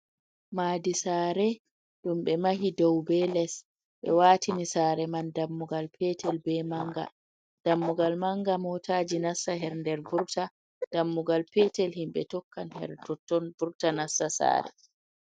Maadi saare, ɗum ɓe mahi doo be les, be waati ni saare man dammugal peetel, be manga, dammugal manga motaji nassa her nder vurta, dammugal peetel, himɓe tokkan her ton-ton vurta nassa saare.